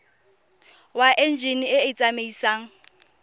wa enjine e e tsamaisang